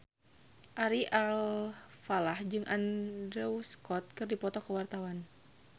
Ari Alfalah jeung Andrew Scott keur dipoto ku wartawan